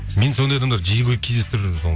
мен сондай адамдарды жиі кездестіріп жүрмін